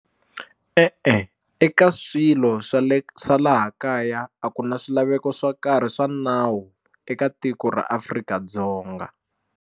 E-e eka swilo swa le swa laha kaya a ku na swilaveko swo karhi swa nawu eka tiko ra Afrika-Dzonga.